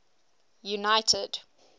united